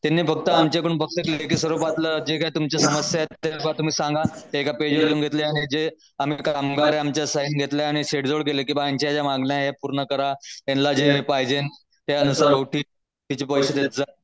तिने फक्त आमच्या कडून फक्त काय तुमच्या समस्या आहे ते तुम्ही सांगा ते एका पेज वर लिहून घेतल्या जे आम्ही कामगारांच्या साईन घेतल्या आणि की हे यांच्या मागणी पूर्ण करा यांना जे पाहिजे त्यानुसार